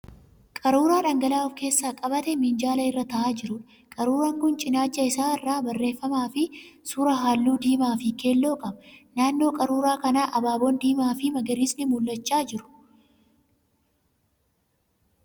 Qaruuraa dhangala'aa of keessaa qabaatee minjaala irra ta'aa jiruudha. Qaruuraan kun cinaacha isaa irraa barreeffamaa fi suuraa halluu diimaa fi keelloo qaba. Naannoo qaruuraa kanaa abaaboon diimaa fi magariisni mul'achaa jiru.